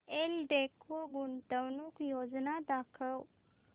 एल्डेको गुंतवणूक योजना दाखव